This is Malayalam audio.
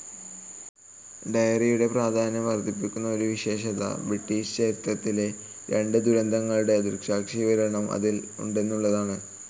ഡയറിയുടെ പ്രാധാന്യം വർദ്ധിപ്പിക്കുന്ന ഒരു വിശേഷത ബ്രിട്ടീഷ് ചരിത്രത്തിലെ രണ്ടു ദുരന്തങ്ങളുടെ ദൃക്സാക്ഷിവിവരണം അതിൽ ഉണ്ടെന്നുള്ളതാണ്.